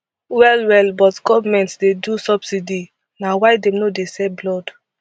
well well but goment dey do subsidy na why dem no dey sell blood